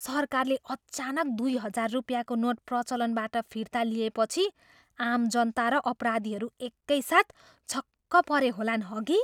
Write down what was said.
सरकारले अचानक दुई हजार रुपियाँको नोट प्रचलनबाट फिर्ता लिएपछि आम जनता र अपराधीहरू एकैसाथ छक्क परे होलान्, हगि?